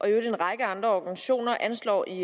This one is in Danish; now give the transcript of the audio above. øvrigt en række andre organisationer anslår i